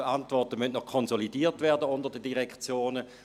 Diese Antworten müssen noch konsolidiert werden unter den Direktionen.